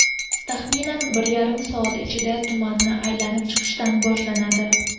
Taxminan bir yarim soat ichida tumanni aylanib chiqishdan boshlanadi.